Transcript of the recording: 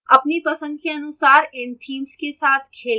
अपनी पसंद के अनुसार इन themes के साथ खेलें